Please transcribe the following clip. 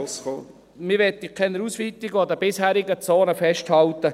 Man möchte keine Ausweitungen, sondern an den bisherigen Zonen festhalten.